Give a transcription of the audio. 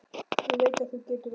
Ég veit að þú getur allt.